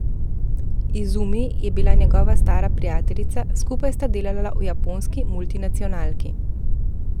Izumi je bila njegova stara prijateljica, skupaj sta delala v japonski multinacionalki.